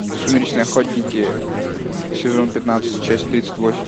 сумеречные охотники сезон пятнадцать часть тридцать восемь